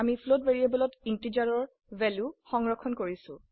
আমি ফ্লোট ভ্যাৰিয়েবলত ইন্টিজাৰৰ ভ্যালু সংৰক্ষণ কৰিছো